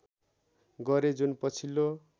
गरे जुन पछिल्लो